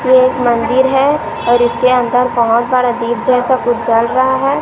ये एक मंदिर है और इसके अंदर बहोत बड़ा दीप जैसा कुछ जल रहा है।